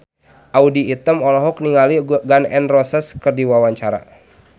Audy Item olohok ningali Gun N Roses keur diwawancara